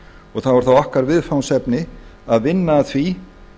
og þá er það okkar viðfangsefni að vinna að því